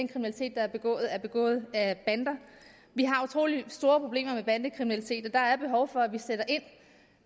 er begået er begået af bander vi har utrolig store problemer med bandekriminalitet og der er behov for at vi sætter ind